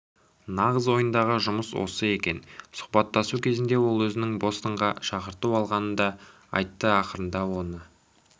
нағыз ойындағы жұмыс осы екен сұхбаттасу кезінде ол өзінің бостоннан шақырту алғанын да айтты ақырында оны